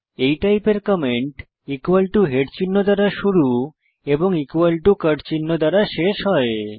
এই টাইপের comment head চিহ্ন দ্বারা শুরু এবং cut চিহ্ন দ্বারা শেষ হয়